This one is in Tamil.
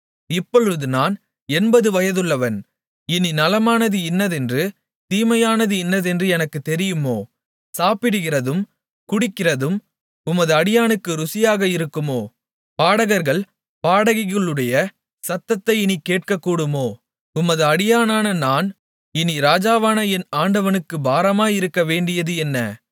இப்பொழுது நான் எண்பது வயதுள்ளவன் இனி நலமானது இன்னதென்றும் தீமையானது இன்னதென்றும் எனக்குத் தெரியுமோ சாப்பிடுகிறதும் குடிக்கிறதும் உமது அடியேனுக்கு ருசியாக இருக்குமோ பாடகர்கள் பாடகிகளுடைய சத்தத்தை இனிக் கேட்கக்கூடுமோ உமது அடியேனான நான் இனி ராஜாவான என் ஆண்டவனுக்குப் பாரமாயிருக்கவேண்டியது என்ன